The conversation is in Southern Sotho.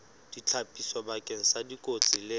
ditlhapiso bakeng sa dikotsi le